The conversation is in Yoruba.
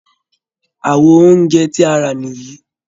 Àwo oúnjẹ tí a rà nìyí